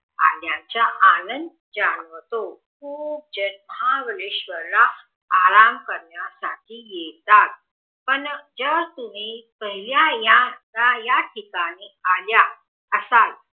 आल्याचा आनंद जाणवतो खूप जण महाबळेश्वर ला आराम करण्या साठी येतात पण जर तुमि पहिल्या या ठिकाणी आल्या असाल